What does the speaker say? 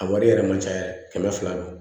A wari yɛrɛ ma ca kɛmɛ fila don